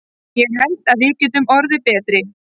Ég held að við getum orðið betri.